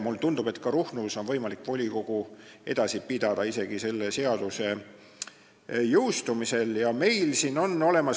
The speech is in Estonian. Mulle tundub, et ka Ruhnus on võimalik volikogu edasi pidada isegi selle seaduse jõustumisel.